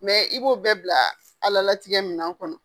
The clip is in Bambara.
i b'o bɛɛ bila ala latigɛ minan kɔnɔ.